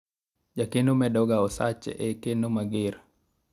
jakeno medoga osache e keno mager